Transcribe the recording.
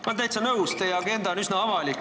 Ma olen täitsa nõus, teie agenda on üsna avalik.